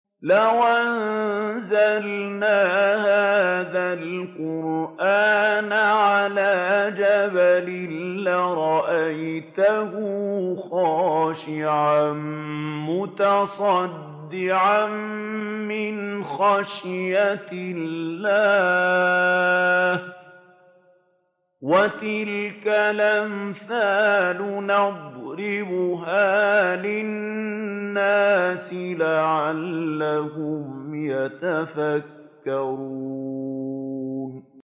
لَوْ أَنزَلْنَا هَٰذَا الْقُرْآنَ عَلَىٰ جَبَلٍ لَّرَأَيْتَهُ خَاشِعًا مُّتَصَدِّعًا مِّنْ خَشْيَةِ اللَّهِ ۚ وَتِلْكَ الْأَمْثَالُ نَضْرِبُهَا لِلنَّاسِ لَعَلَّهُمْ يَتَفَكَّرُونَ